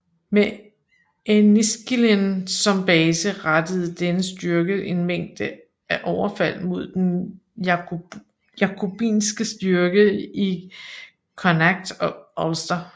Med Enniskillen som base rettede denne styrke en mængde af overfald mod den jakobinske styrke i Connacht og Ulster